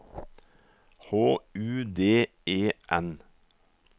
H U D E N